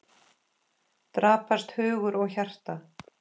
Daprast hugur og hjarta.